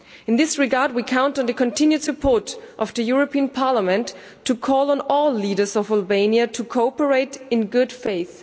In this regard we count on the continued support of the European Parliament to call on all leaders of Albania to cooperate in good faith.